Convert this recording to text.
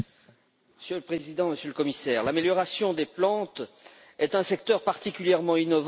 Monsieur le Président, Monsieur le Commissaire, l'amélioration des plantes est un secteur particulièrement innovant.